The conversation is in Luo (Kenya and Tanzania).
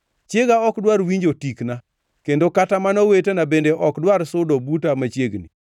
Chiega ok dwar winjo tikna; kendo kata mana owetena bende ok dwar sudo buta machiegni.